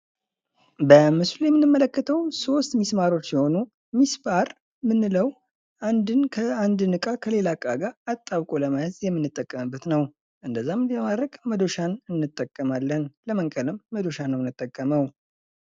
በምሥሉ የምንመለከተው ሶስት ሚስማሮች ሲሆኑ ፤ ሚስማር ምንው አንድን እቃ ከሌላ እቃ ጋር አጣብቆ ለመያዝ የምንጠቀምበት ነው። እንደዛም ለማድረግ መዶሻ እንጠቀማለን ለመንቀልም መዶሻን ነው የምንጠቀመው።